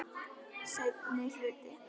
Seinni hluti.